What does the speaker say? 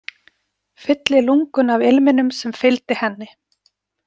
Fylli lungun af ilminum sem fylgdi henni.